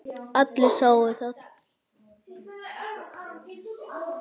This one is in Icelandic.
Allir sáu það.